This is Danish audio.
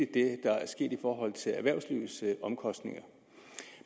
det der er sket i forhold til erhvervslivets omkostninger